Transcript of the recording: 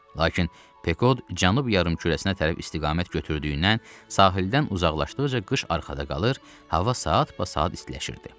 Lakin Pekod Cənub yarımkürəsinə tərəf istiqamət götürdüyündən sahildən uzaqlaşdıqca qış arxada qalır, hava saatbasaat istiləşirdi.